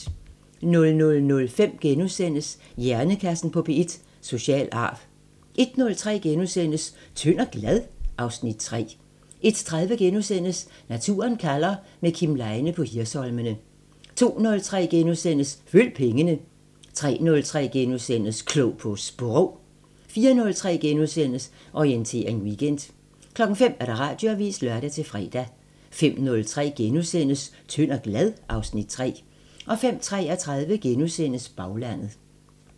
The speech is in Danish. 00:05: Hjernekassen på P1: Social arv * 01:03: Tynd og glad? (Afs. 3)* 01:30: Naturen kalder – med Kim Leine på Hirsholmene * 02:03: Følg pengene * 03:03: Klog på Sprog * 04:03: Orientering Weekend * 05:00: Radioavisen (lør-fre) 05:03: Tynd og glad? (Afs. 3)* 05:33: Baglandet *